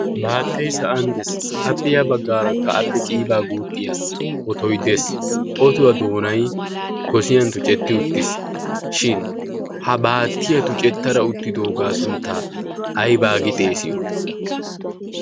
baattay sa'an dees appe yaa baggaarakka appe qiibaa guuxxiya otoiddees otuwaa doonai gosiyan tucetti uttiis shin ha baattiyaa tucettara uttidoogaa sunttaa aybaa gi xeesiyo?